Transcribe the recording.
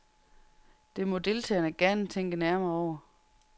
Det må deltagerne gerne tænke nærmere over.